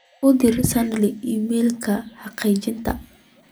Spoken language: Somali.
u dir sandy iimaylka xaqiijinta